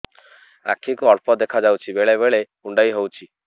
ଆଖି କୁ ଅଳ୍ପ ଦେଖା ଯାଉଛି ବେଳେ ବେଳେ କୁଣ୍ଡାଇ ହଉଛି